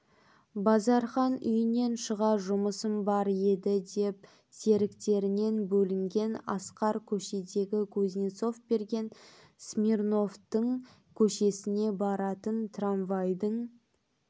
базархан үйінен шыға жұмысым бар еді деп серіктерінен бөлінген асқар көшедегі кузнецов берген смирновтың көшесіне баратын трамвайдың